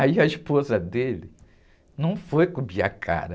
Aí a esposa dele não foi cobrir a cara.